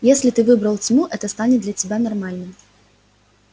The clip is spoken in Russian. если ты выбрал тьму это станет для тебя нормальным